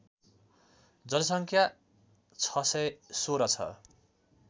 जनसङ्ख्या ६१६ छ